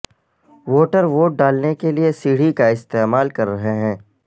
voter vote ڈالنے کے لیے سیڑھی کا استعمال کر رہے ہیں